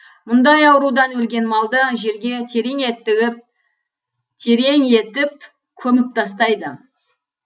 мұндай аурудан өлген малды жерге терең етіп көміп тастайды